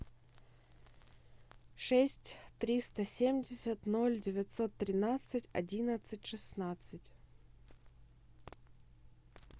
шесть триста семьдесят ноль девятьсот тринадцать одиннадцать шестнадцать